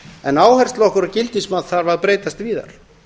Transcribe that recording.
en áhersla okkar og gildismat þarf að breytast víðar